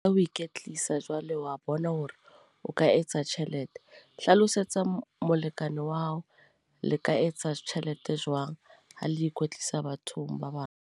Ha o ikwetlisa jwale wa bona hore o ka etsa tjhelete. Hlalosetsa molekane wa hao le ka etsa tjhelete Jwang, ha le ikwetlisa bathong ba bang.